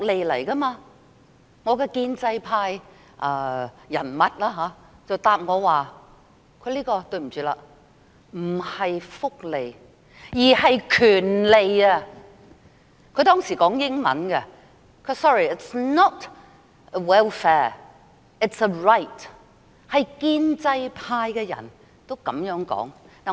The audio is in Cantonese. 那位建制派人物回答我︰對不起，這不是福利，而是權利，他當時以英文說 ："Sorry, it is not welfare, it is a right."， 連建制派的人亦這樣說。